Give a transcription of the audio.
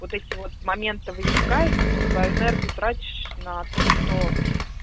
вот эти вот моменты возникают и ты свою энергию тратишь на то что